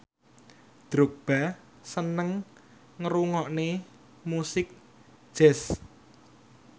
Drogba seneng ngrungokne musik jazz